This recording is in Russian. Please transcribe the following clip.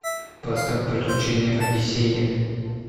поставь приключения одиссея